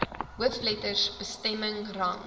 hoofletters bestemming rang